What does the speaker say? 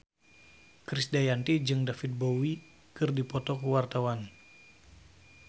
Krisdayanti jeung David Bowie keur dipoto ku wartawan